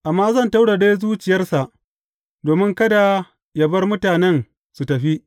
Amma zan taurare zuciyarsa domin kada yă bar mutanen su tafi.